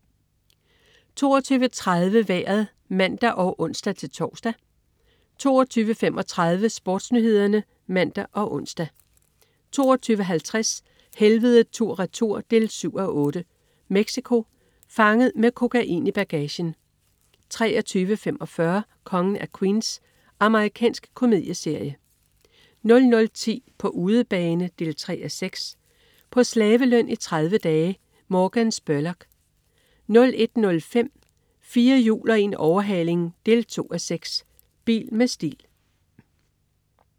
22.30 Vejret (man og ons-tors) 22.35 SportsNyhederne (man og ons) 22.50 Helvede tur/retur 7:8. Mexico. Fanget med kokain i bagagen! 23.45 Kongen af Queens. Amerikansk komedieserie 00.10 På udebane 3:6. På slaveløn i 30 dage! Morgan Spurlock 01.05 4 hjul og en overhaling 2:6. Bil med stil